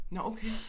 Nåh okay